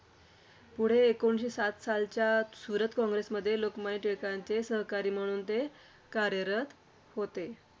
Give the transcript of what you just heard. पुढे एकोणीसशे सात सालच्या सुरत काँग्रेसमध्ये लोकमान्य टिळकांचे सहकारी म्हणून ते कार्यरत होते.